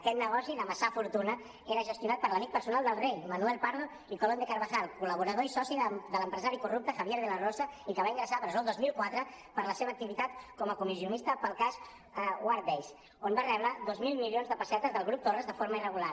aquest negoci d’amassar fortuna era gestionat per l’amic personal del rei manuel prado y colón de carvajal col·laborador i soci de l’empresari corrupte javier de la rosa i que va ingressar a presó el dos mil quatre per la seva activitat com a comissionista pel cas wardbase on va rebre dos mil milions de pessetes del grup torras de forma irregular